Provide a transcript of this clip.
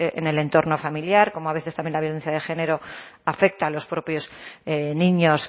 en el entorno familiar coma a veces también la violencia de género afecta a los propios niños